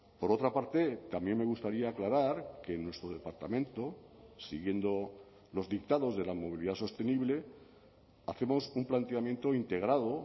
por otra parte también me gustaría aclarar que en nuestro departamento siguiendo los dictados de la movilidad sostenible hacemos un planteamiento integrado